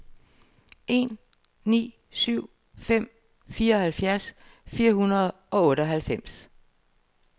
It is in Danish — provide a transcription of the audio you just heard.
tre ni syv fem fireoghalvfjerds fire hundrede og otteoghalvfems